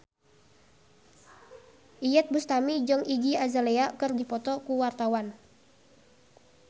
Iyeth Bustami jeung Iggy Azalea keur dipoto ku wartawan